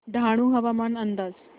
डहाणू हवामान अंदाज